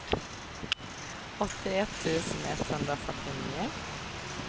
åttioett tusen etthundrafyrtionio